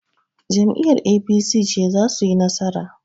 Jam'iyyar APC ce za suyi nasara.